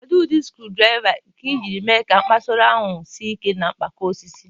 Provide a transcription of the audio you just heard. Kedu ụdị screwdriver nke ị jiri mee ka kposara ahụ sie ike na mgbakọ osisi?